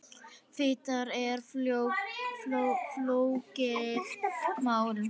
Fita er flókið mál.